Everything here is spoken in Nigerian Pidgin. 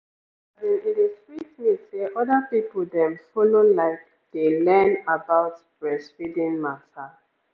as in e dey sweet me say other people dem follow like dey learn about breastfeeding mata